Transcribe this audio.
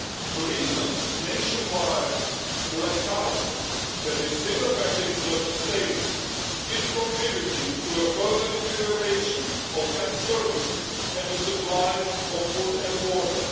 The recent nationwide blackout that is still affecting certain states is contributing to a further deterioration in health services and in the supply of food and water.